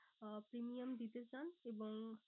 আহ premium দিতে চান এবং